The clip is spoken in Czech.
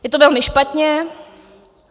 Je to velmi špatně.